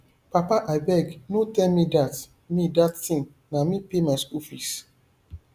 papa abeg no tell me dat me dat thing na me pay my school fees